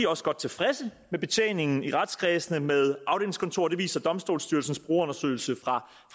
også godt tilfreds med betjeningen i retskredse med afdelingskontorer det viser domstolsstyrelsens brugerundersøgelse fra